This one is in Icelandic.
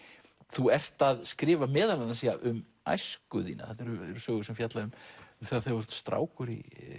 þú ert að skrifa meðal annars um æsku þína þarna eru sögur sem fjalla um þegar þú ert strákur